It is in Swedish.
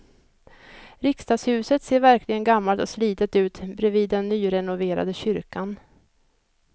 Riksdagshuset ser verkligen gammalt och slitet ut bredvid den nyrenoverade kyrkan.